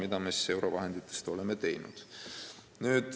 Oleme selleks kasutanud eurovahendeid.